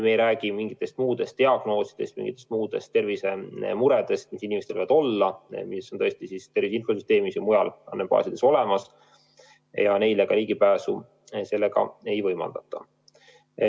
Me ei räägi mingitest muudest diagnoosidest, mingitest muudest tervisemuredest, mis inimestel võivad olla, mis on tõesti infosüsteemis ja mujal andmebaasides olemas, aga neile ligipääsu sellega ei võimaldata.